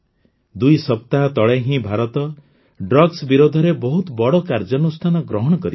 ଦୁଇ ସପ୍ତାହ ତଳେ ହିଁ ଭାରତ ଊକ୍ସଙ୍କଶଗ୍ଦ ବିରୋଧରେ ବହୁତ ବଡ଼ କାର୍ଯ୍ୟାନୁଷ୍ଠାନ ଗ୍ରହଣ କରିଛି